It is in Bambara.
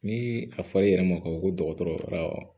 Ni a fali yɛrɛ ma ka fɔ ko dɔgɔtɔrɔ taara